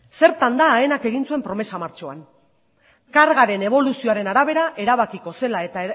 zertan da aenak egin zuen promesa martxoan kargaren eboluzioaren arabera erabakiko zela eta